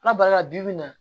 Ala barika la bi bi in na